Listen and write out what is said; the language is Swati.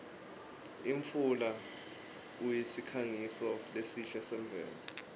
imfula usikhangiso lesihle semvelo